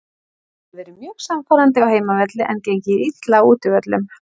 Þeir hafa verið mjög sannfærandi á heimavelli en gengið illa á útivöllum.